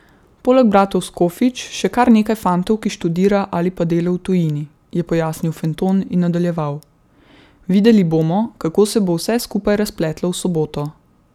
Poleg bratov Skofič še kar nekaj fantov, ki študira ali pa dela v tujini,' je pojasnil Fenton in nadaljeval: 'Videli bomo, kako se bo vse skupaj razpletlo v soboto.